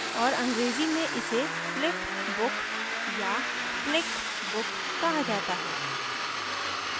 और अंग्रेजी में इसे flip book flip book या flick book flick book कहा जाता है